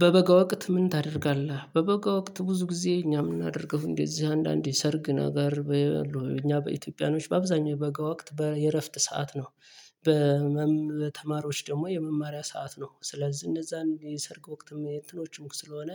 በበጋ ወቅት ምን ታደርጋለህ? በበጋ ወቅት ብዙ ጊዜ እኛ የምናደርገው እንደዚህ አንዳንዴ ሰርግ ነገር እኛ በኢትዮጵያኖች በአብዛኛው የበጋ ወቅት በየእረፍት ሰዓት ነው። በመም ተማሪዎች ደግሞ የመማሪያ ሰዓት ነው። ስለዚህ እነዛ የሰርግ ወቅትም የእንትኖችም ስለሆነ